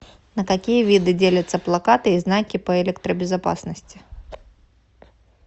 на какие виды делятся плакаты и знаки по электробезопасности